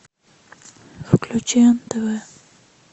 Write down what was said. включи нтв